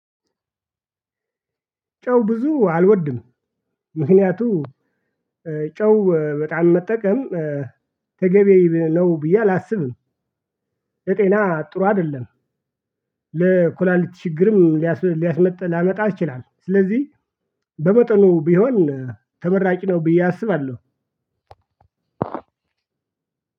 ጨው ብዙ አልወድም። ምክንያቱም ጨው በጣም መጠቀም ተገቢ ነው ብዬ አላስብም። ለጤና ጥሩ አይደለም። ለኩላሊት ችግርም ሊያስ ሊያስመጥ ላመጣ ይችላል። ስለዚህ በመጠኑ ቢሆን ተመራጭ ነው። ብዬ አስባለሁ።